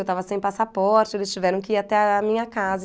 Eu estava sem passaporte, eles tiveram que ir até a minha casa.